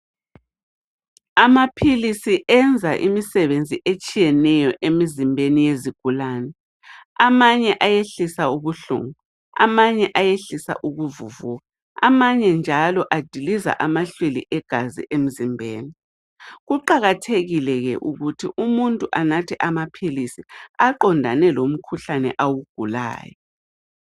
Amaphilisi enza imisebenzi etshiyeneyo emizimbeni yezigulane. Amanye ayehlisa ubuhlungu, amanye ayehlisa ukuvuvuka, amanye njalo adiliza amahlwili egazi emzimbeni. Kuqakathekile ke ukuthi umuntu anathe amaphilisi aqondane lomkhuhlane awugulayo.